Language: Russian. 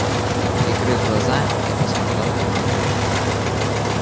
прикрыв глаза я посмотрел в темноту